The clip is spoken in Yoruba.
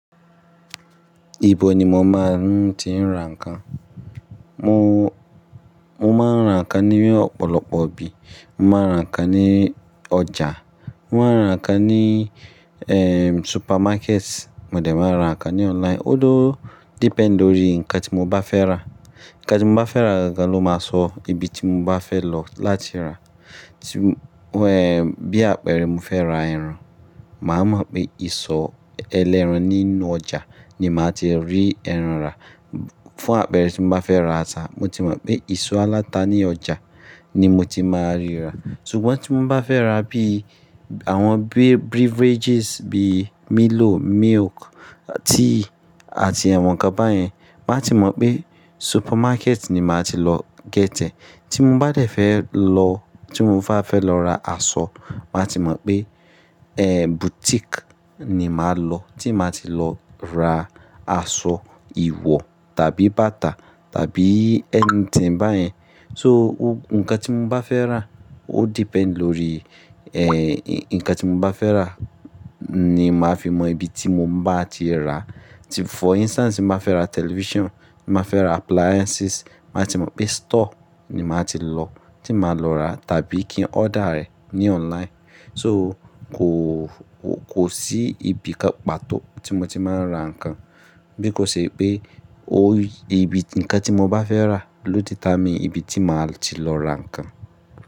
Ibo ni mo máa ń ti ń ra nǹkan? Mo, mo máa ń ra nǹkan ní ọ̀pọ̀lọpọ̀ ibi. Mo máa ń ra nǹkan ní ọjà, mo máa ń ra nǹkan ní, supermarket, mo dẹ̀ máa n ra nǹkan ní online. Ó ló depend lórí nǹkan tí mo bá fẹ́ rà. Nǹkan tí mo bá fẹ́ rà gangan ló máa sọ ibi tí mo bá fẹ́ lọ láti rà. Tí, bí àpẹẹrẹ mo fẹ́ ra ẹran, màá mọ̀ pé ìsọ̀ ẹlẹ́ran nínú ọjà ni màá ti rí ẹran rà. Fún àpẹẹrẹ tí mo bá fẹ́ ra ata, mo ti mọ̀ pé ìsọ̀ aláta ní ọjà ni mo ti máa rí rà. Ṣùgbọ́n tí mo bá fẹ́ ra bí àwọn beverages bí Milo, milk, tea àti àwọn n kan báyẹn, màá ti mọ̀ pé supermarket ni màá ti lọ get ẹ̀. Tí mo bá dẹ̀ fẹ́ lọ, tí mo bá fẹ́ lọ ra aṣọ, màá ti mọ̀ pé, ehn, boutique ni màá lọ. Tí màá ti lọ ra aṣọ ìwọ̀ tàbí bàtà tàbí anything bá yẹn. So o, nǹkan tí mo bá fẹ́ rà ó depend lórí, nǹkan tí mo bá fẹ́ rà ni màá fi mọ ibi tí mo máa ti rà. Tí for instance, ti n bá fẹ́ ra television, ti n bá fẹ́ ra appliances, màá ti mọ̀ pé store ni màá ti lọ, tí màá lọ rà tàbí kí n order rẹ̀ ní online. So kò, kò sí ibi kan pàtó tí mo ti máa ń ra nǹkan. Bí kò ṣe pé o ibi, nǹkan tí mo bá fẹ́ rà ló determine ibi tí màá ti lọ ra nǹkan.